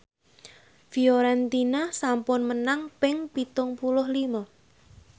Fiorentina sampun menang ping pitung puluh lima